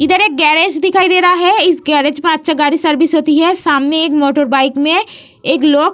इधर एक गेरेज दिखाई दे रहा है इस गेरेज पर अच्छा गाड़ी सर्विस होती है सामने एक मोटर बाइक में एक लोग --